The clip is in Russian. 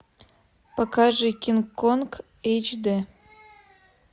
покажи кинг конг эйч дэ